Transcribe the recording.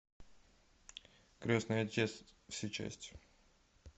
крестный отец все части